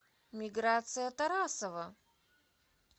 миграция тарасова